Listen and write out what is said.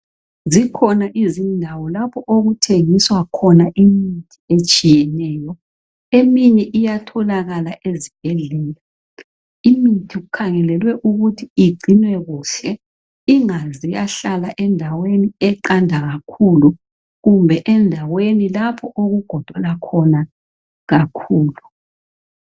Zikhona izindawo lapho okuthengiswa khona imithi etshiyeneyo. Eminye iyatholakala ezibhedlela. Imithi kukhangelelwe ukuthi igcinwe kuhle, ingaze yahlala endaweni eqanda kakhulu kumbe endweni lapho okugodola khona kakhulu.